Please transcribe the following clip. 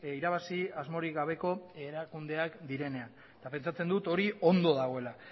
irabazi asmorik gabeko erakundeak direnean eta pentsatzen dut hori ondo dagoela